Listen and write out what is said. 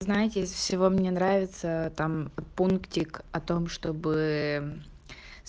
знаете из всего мне нравится там пунктик о том чтобы